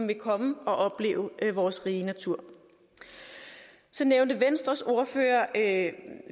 vil komme og opleve vores rige natur så nævnte venstres ordfører at